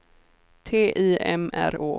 T I M R Å